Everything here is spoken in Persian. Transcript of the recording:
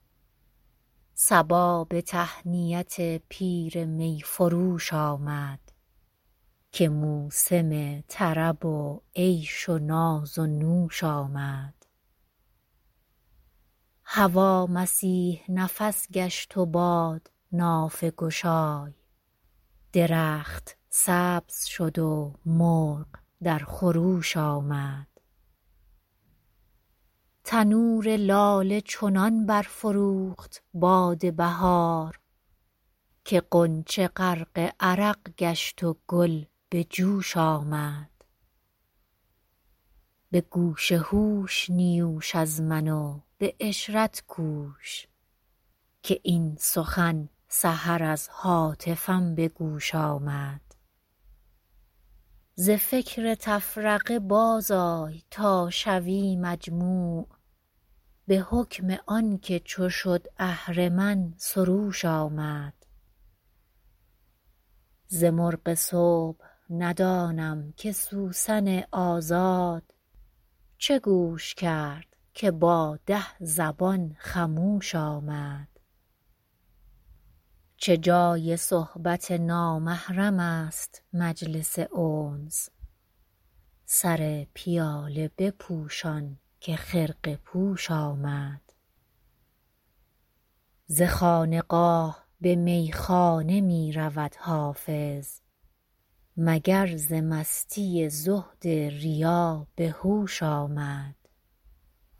صبا به تهنیت پیر می فروش آمد که موسم طرب و عیش و ناز و نوش آمد هوا مسیح نفس گشت و باد نافه گشای درخت سبز شد و مرغ در خروش آمد تنور لاله چنان برفروخت باد بهار که غنچه غرق عرق گشت و گل به جوش آمد به گوش هوش نیوش از من و به عشرت کوش که این سخن سحر از هاتفم به گوش آمد ز فکر تفرقه بازآی تا شوی مجموع به حکم آن که چو شد اهرمن سروش آمد ز مرغ صبح ندانم که سوسن آزاد چه گوش کرد که با ده زبان خموش آمد چه جای صحبت نامحرم است مجلس انس سر پیاله بپوشان که خرقه پوش آمد ز خانقاه به میخانه می رود حافظ مگر ز مستی زهد ریا به هوش آمد